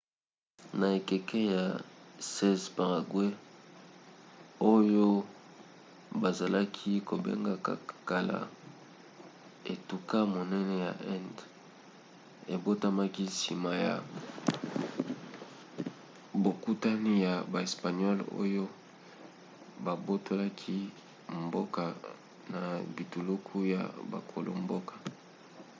na ekeke ya 16 paraguay oyo bazalaki kobenga kala etuka monene ya indes ebotamaki nsima ya bokutani ya baespagnole oyo babotolaki mboka na bituluku ya bakolo-mboka